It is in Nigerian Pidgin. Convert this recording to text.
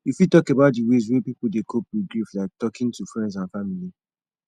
you fit talk about di ways wey people dey cope with grief like talking to friends and family